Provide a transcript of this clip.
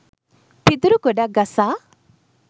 පිදුරු ගොඩක් ගසා